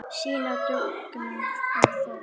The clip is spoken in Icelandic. Sýna dugnað og þor.